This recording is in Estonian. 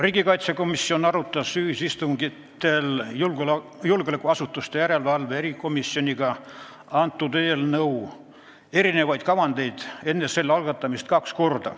Riigikaitsekomisjon arutas enne eelnõu algatamist kahel julgeolekuasutuste järelevalve erikomisjoniga peetud ühisistungil eelnõu erinevaid kavandeid.